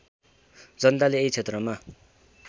जनताले यही क्षेत्रमा